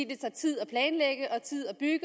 tager tid at planlægge og tid at bygge